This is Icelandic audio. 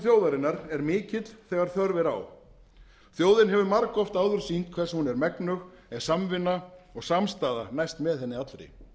þjóðarinnar er mikill þegar þörf er á þjóðin hefur margoft áður sýnt hvers hún er megnug ef samvinna og samstaða næst með henni allri